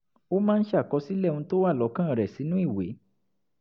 ó máa ń ṣàkọsílẹ̀ ohun tó wà lọ́kàn rẹ̀ sínú ìwé